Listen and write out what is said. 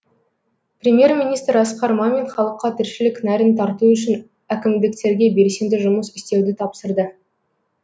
премьер министр асқар мамин халыққа тіршілік нәрін тарту үшін әкімдерге белсенді жұмыс істеуді тапсырды